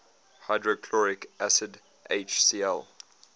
hydrochloric acid hcl